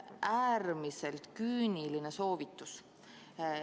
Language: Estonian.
Äärmiselt küüniline soovitus.